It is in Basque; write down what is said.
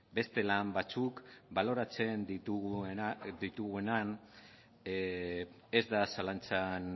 beste lan batzuk baloratzen ditugunean ez da zalantzan